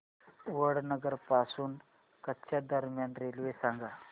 वडनगर पासून कच्छ दरम्यान रेल्वे सांगा